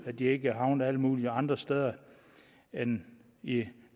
at de ikke havnede alle mulige andre steder end i i